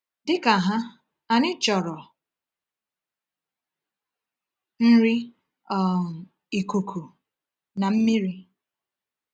Dị ka ha, anyị chọrọ nri, um ikuku, na mmiri.